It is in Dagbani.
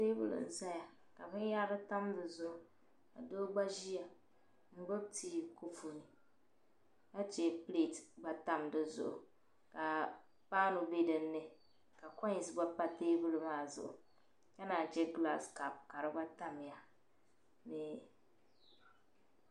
Teebuli n ʒɛya ka binyahari tam di zuɣu ka doo gba ʒiya n gbubi tii kopu ni ka chɛ pileet gba tam di zuɣu ka paanu bɛ dinni ka koins gba pa teebuli maa zuɣu ka naan chɛ gilaas kaap ka di gba tamya ni